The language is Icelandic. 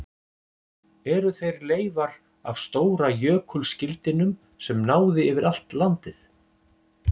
Eru þeir leifar af stóra jökulskildinum sem náði yfir allt landið?